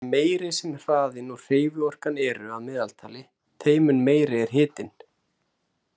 Því meiri sem hraðinn og hreyfiorkan eru að meðaltali, þeim mun meiri er hitinn.